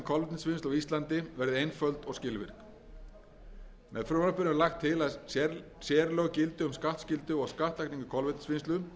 kolvetnisvinnslu á íslandi verði einföld og skilvirk með frumvarpinu er lagt til að sérlög gildi um skattskyldu og skattlagningu kolvetnisvinnslu enda um